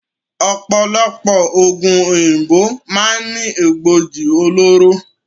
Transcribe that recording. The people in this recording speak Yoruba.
Ọ̀pọ̀lọpọ̀ oògùn òyìnbó máa ń ní Egbògi olóró